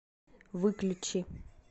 выключи